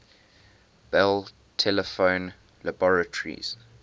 bell telephone laboratories